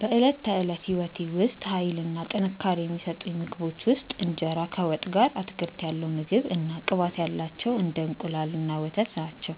በዕለት ተዕለት ሕይወቴ ውስጥ ኃይል እና ጥንካሬ የሚሰጡኝ ምግቦች ውስጥ እንጀራ ከወጥ ጋር፣ አትክልት ያለው ምግብ እና ቅባት ያላቸው እንደ እንቁላል እና ወተት ናቸው።